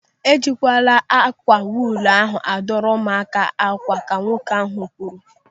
"Ejikwala ákwà wuulu a duru ụmụaka akwa mwụda", ka nwoke ahụ kwuru.